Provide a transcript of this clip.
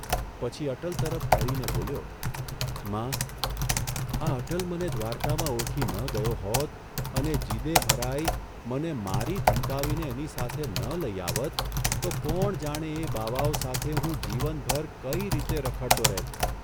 પછી અટલ તરફ ફરીને બોલ્યો, ' મા, આ અટલ મને દ્વારકામાં ઓળખી ન ગયો હોત અને જીદે ભરાઇ, મને મારી ધમકાવીને એની સાથે ન લઇ આવત તો કોણ જાણે એ બાવાઓ સાથે હું જીવનભર કઇ રીતે રખડતો રહેત?